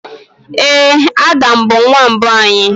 Ee, Adam bụ nwa mbụ anyị.